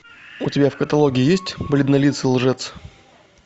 у тебя в каталоге есть бледнолицый лжец